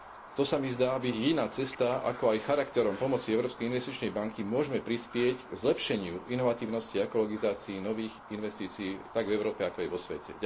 To sa mi zdá byť jediná cesta, ako aj charakterom pomoci Európskej investičnej banky môžme prispieť k zlepšeniu inovatívnosti a ekologizácii nových investícií tak v Európe, ako aj vo svete.